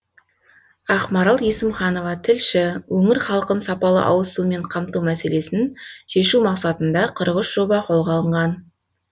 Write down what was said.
ақмарал есімханова тілші өңір халқын сапалы ауызсумен қамту мәселесін шешу мақсатында қырық үш жоба қолға алынған